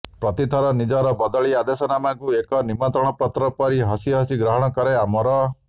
ପ୍ରତିଥର ନିଜର ବଦଳି ଆଦେଶନାମାକୁ ଏକ ନିମନ୍ତ୍ରଣ ପତ୍ର ପରି ହସି ହସି ଗ୍ରହଣ କରେ ଅମର